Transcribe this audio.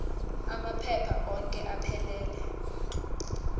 amaphepha onke aphelele